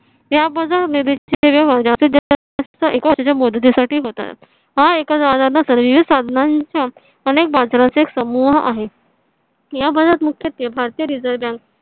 त्या एक वर्षाच्या मुदतीसाठी होतात. हां एखादा विविध साधनांचा अनेक बाजाराचा एक समूह आहे. या बाजारामध्ये मुख्यत्वे भारतीय reserve bank